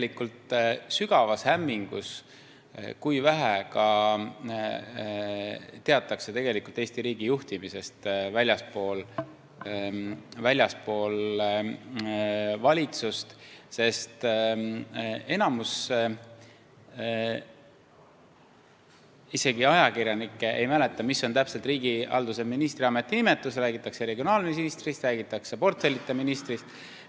Ma olen sügavas hämmingus selle pärast, kui vähe teatakse tegelikult Eesti riigi juhtimisest väljaspool valitsust, sest isegi enamik ajakirjanikke ei mäleta, mis on täpselt riigihalduse ministri ametinimetus, räägitakse regionaalministrist, räägitakse portfellita ministrist.